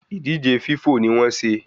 Ìdíje Fífọ̀ ni wọn se